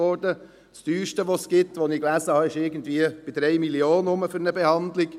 Das teuerste, von dem ich gelesen habe, kostet für eine Behandlung um rund 3 Mio. Franken.